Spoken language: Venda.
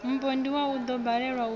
mupondiwa u ḓo balelwa u